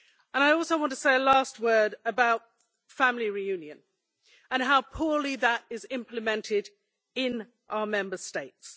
I also want to say a last word about family reunion and how poorly that is implemented in our Member States.